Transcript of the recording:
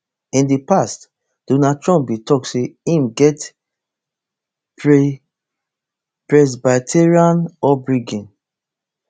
in di past donald trump bin tok say im get presbyterian upbringing